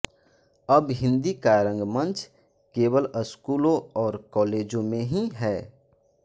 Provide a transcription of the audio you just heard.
अब हिन्दी का रंगमंच केवल स्कूलों और कॉलेजों में ही है